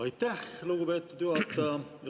Aitäh, lugupeetud juhataja!